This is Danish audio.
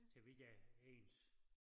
Så vi ikke er ens